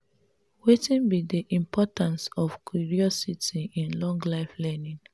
wetin be di importance of curiosity in lifelong learning?